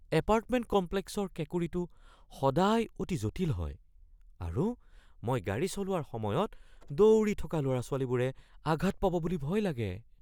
Apartment কমপ্লেক্সৰ কেঁকুৰিটো সদায় অতি জটিল হয় আৰু মই গাড়ী চলোৱাৰ সময়ত দৌৰি থকা ল’ৰা-ছোৱালীবোৰে আঘাত পাব বুলি ভয় লাগে।